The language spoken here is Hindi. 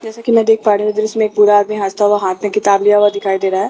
जैसे की मैं देख पा रही हूँ दृश्य में एक पूरा आदमी हसता हुआ हाथ में किताब लिया हुआ दिखाई दे रहा है।